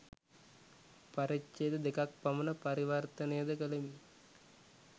පරිච්ඡේද දෙකක් පමණ පරිවර්තනය ද කළෙමි